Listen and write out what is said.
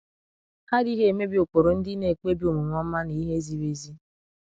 Hà adịghị emebi ụkpụrụ ndị na-ekpebi omume ọma na ihe ziri ezi.